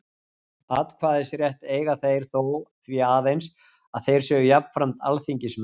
Atkvæðisrétt eiga þeir þó því aðeins, að þeir séu jafnframt alþingismenn.